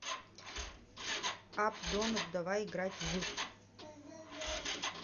апп донат давай играть в